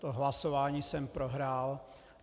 To hlasování jsem prohrál.